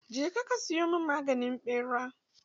Je ka siyo min maganin ɓera!